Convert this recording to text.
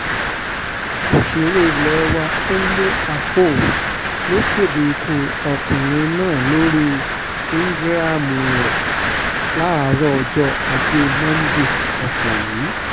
òṣèré ilé wa kúnlé afo ló kéde ikú ọkùnrin náà lórí íńgíráàmù rẹ̀ láàrò ọjọ́ ajé monde ọ̀sẹ̀ yìí